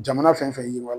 Jamana fɛn fɛn yiriwa